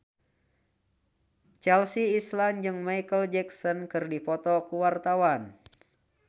Chelsea Islan jeung Micheal Jackson keur dipoto ku wartawan